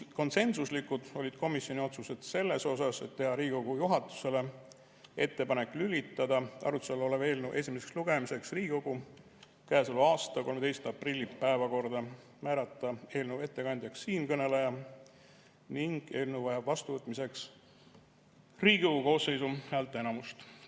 Konsensuslikud olid komisjoni otsused selle kohta, et teha Riigikogu juhatusele ettepanek lülitada arutluse all olev eelnõu esimeseks lugemiseks Riigikogu käesoleva aasta 13. aprilli päevakorda, määrata eelnõu ettekandjaks siinkõneleja ning et eelnõu vajab vastuvõtmiseks Riigikogu koosseisu häälteenamust.